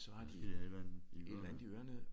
Ja de har et eller andet i ørerne